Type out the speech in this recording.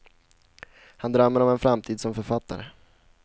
Han drömmer om en framtid som författare.